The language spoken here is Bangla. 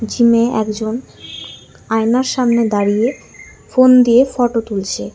জিমে একজন আয়নার সামনে দাঁড়িয়ে ফোন দিয়ে ফটো তুলছে।